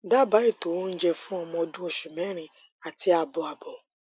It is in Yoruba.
daba ètò oúnjẹ fún ọmọ ọdún osu mẹrin àti àbọ àbọ